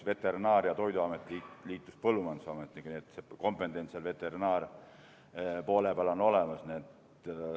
Veterinaar- ja Toiduamet liitus Põllumajandusametiga, nii et see kompetents ka veterinaarpoole peal on olemas.